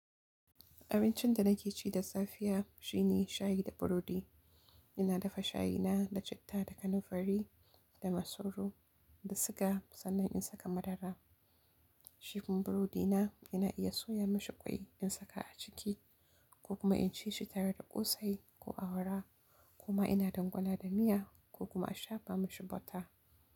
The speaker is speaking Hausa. Abincin da nake ci da safiya shine shayi da burodi. Ina dafa shayina da citta, da kanamfari, da masoro, da siga sannan in saka madara. Shi kuma burodi na ina iya soya mashi kwai in saka a ciki ko kuma in ci shi tare da ƙosai ko awara kuma ina dangwala da miya ko kuma a shafa mashi bota.